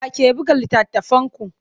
Wa ke buga littattafanku?